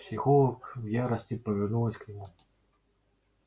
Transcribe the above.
психолог в ярости повернулась к нему